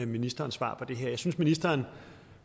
ministeren svar på det her jeg synes at ministeren